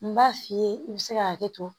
N b'a f'i ye i bɛ se ka hakɛ to